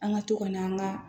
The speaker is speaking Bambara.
An ka to ka n'an ka